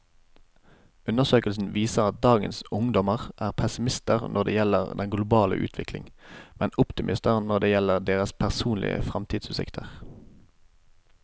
Undersøkelsen viser at dagens ungdommer er pessimister når det gjelder den globale utvikling, men optimister når det gjelder deres personlige fremtidsutsikter.